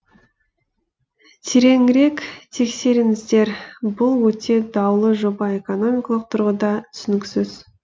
тереңірек тексеріңіздер бұл өте даулы жоба экономикалық тұрғыда түсініксіз